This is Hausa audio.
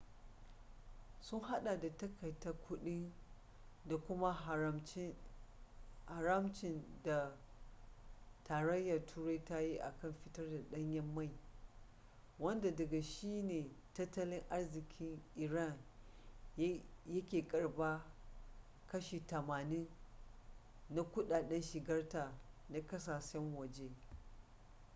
sun hada da takaita kudi da kuma haramcin da tarayyar turai ta yi kan fitar da danyen mai wanda daga shi ne tattalin arzikin iran yake karbar kashi 80% na kudaden shigarta na kasashen waje